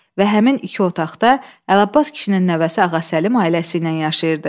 Və həmin iki otaqda Əlabbas kişinin nəvəsi Ağa Səlim ailəsi ilə yaşayırdı.